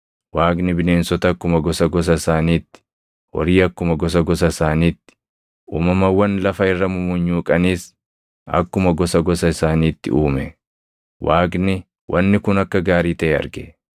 Waaqni bineensota akkuma gosa gosa isaaniitti, horii akkuma gosa gosa isaaniitti, uumamawwan lafa irra mumunyuuqanis akkuma gosa gosa isaaniitti uume. Waaqni wanni kun akka gaarii taʼe arge.